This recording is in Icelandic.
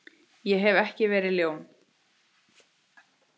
Ég hef ekki verið ljón.